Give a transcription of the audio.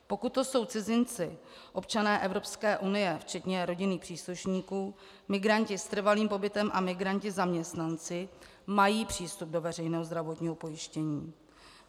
Pokud to jsou cizinci občané Evropské unie včetně rodinných příslušníků, migranti s trvalým pobytem a migranti zaměstnanci, mají přístup do veřejného zdravotního pojištění.